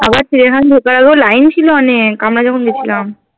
আবার চিড়িয়াখানা তে ঢোকার আগেও line ছিল অনেক আমরা যখন গেছিলাম